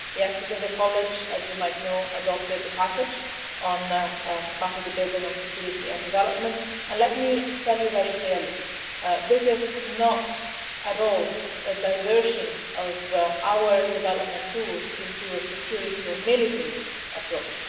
Yesterday the College as you might know adopted the package on capacity building on Security and Development, and let me tell you very clearly this is not at all a diversion of our development tools into a security or military approach.